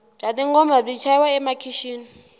bya tingoma byi chayiwa emakixini